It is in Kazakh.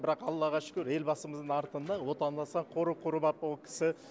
бірақ аллаға шүкір елбасымыздың артында отандастар қоры құрып ап ол кісі